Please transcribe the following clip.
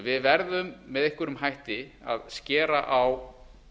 við verðum með einhverjum hætti að skera á